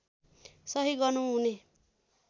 सही गर्नु हुने